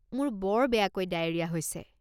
মোৰ বৰ বেয়াকৈ ডায়েৰিয়া হৈছে।